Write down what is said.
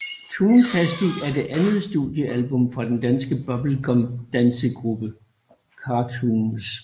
Toontastic er det andet studiealbum fra den danske bubblegum dancegruppe Cartoons